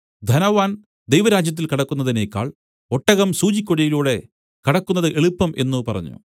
ധനവാൻ ദൈവരാജ്യത്തിൽ കടക്കുന്നതിനേക്കാൾ ഒട്ടകം സൂചിക്കുഴയിലൂടെ കടക്കുന്നത് എളുപ്പം എന്നു പറഞ്ഞു